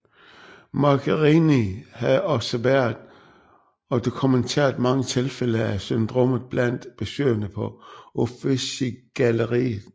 Magherini havde observeret og dokumenteret mange tilfælde af syndromet blandt besøgende på Uffizigalleriet